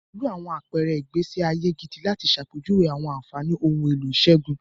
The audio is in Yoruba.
Pẹ̀lú àwọn àpẹẹrẹ ìgbésí ayé gidi láti ṣàpèjúwe àwọn àfààní ohun èlò ìṣègùn.